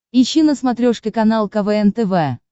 ищи на смотрешке канал квн тв